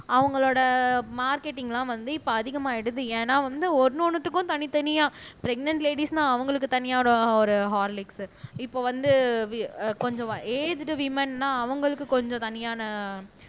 அவங்களோட மார்க்கெட்டிங்லாம் வந்து இப்ப அதிகமாயிடுது ஏன்னா வந்து ஒண்ணு ஒண்ணுத்துக்கும் தனித்தனியா ப்றேக்னேன்ட் லேடீஸ்ன்னா அவங்களுக்கு தனியா ஒரு ஹார்லிக்ஸ் இப்ப வந்து கொஞ்சம் ஏச்டு விமன்ன்னா அவங்களுக்கு கொஞ்சம் தனியான